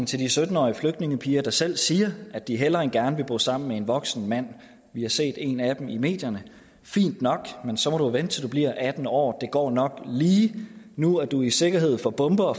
til de sytten årige flygtningepiger der selv siger at de hellere end gerne vil bo sammen med en voksen mand vi har set en af dem i medierne fint nok men så må du vente til du bliver atten år det går nok lige nu er du i sikkerhed for bomber